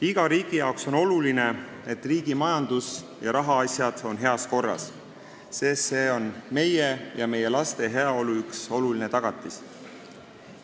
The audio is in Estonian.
Igale riigile on oluline, et majandus ja rahaasjad oleksid heas korras, sest see on meie ja meie laste heaolu üks olulisi tagatisi.